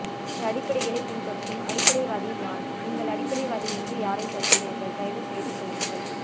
இந்த அடிப்படைகளை பின்பற்றும் அடிப்படைவாதி நான் நீங்கள் அடிப்படைவாதி என்று யாரை சொல்லுகிறீர்கள் தயவுசெய்து சொல்லுங்கள்